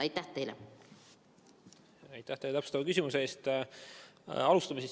Aitäh täpsustava küsimuse eest!